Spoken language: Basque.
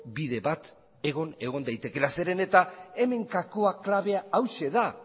bide bat egon egon daitekeela zeren eta hemen gakoa klabea hauxe da